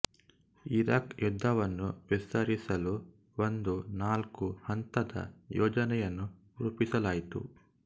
Iraq ಯುದ್ಧವನ್ನು ವಿಸ್ತರಿಸಲು ಒಂದು ನಾಲ್ಕು ಹಂತದ ಯೋಜನೆಯನ್ನು ರೂಪಿಸಲಾಯಿತು